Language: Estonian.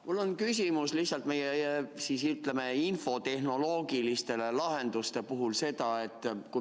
Mul on küsimus lihtsalt meie infotehnoloogiliste lahenduste kohta.